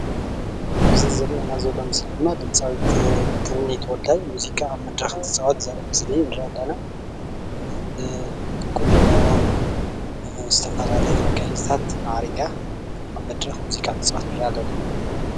ኣብዚ ዝረአየና ዘለና ምስሊ ድማ ድምፃዊት ትምኒት ወልዳይ ሙዚቓ ኣብ መድረከ ትፃወት ዘርኢ ምስሊ ንርኢ አለና ብቑኖ ብዝተፈላለዩ መጋየፅታት ማዕሪጋ ኣብ መድረክ ሙዚቓ ትፃወት ንርአ ኣለና።